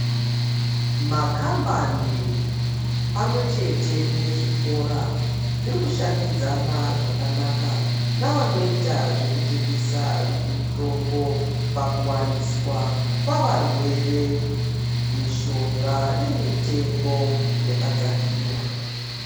Makambani pamwechete nezvikora zvirikushandidzana zvakanaka navanoita zvekutengesa mitombo pakuwaniswa kwavarwere mishonga nemitengo yakadzakira.